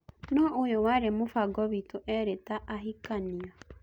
No-ũyũ warĩ mũfango witũ-erĩ ta-ahikania.